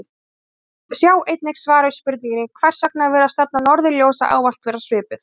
Sjá einnig svar við spurningunni Hvers vegna virðist stefna norðurljósa ávallt vera svipuð?